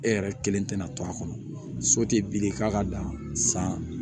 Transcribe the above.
E yɛrɛ kelen tɛna to a kɔnɔ so te bile k'a ka dan san